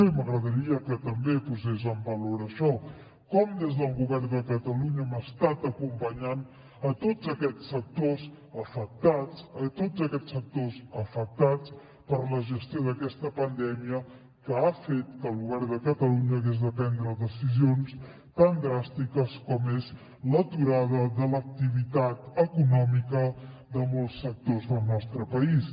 i m’agradaria que també posés en valor això com des del govern de catalunya hem estat acompanyant tots aquests sectors afectats per la gestió d’aquesta pandèmia que ha fet que el govern de catalunya hagués de prendre decisions tan dràstiques com és l’aturada de l’activitat econòmica de molts sectors del nostre país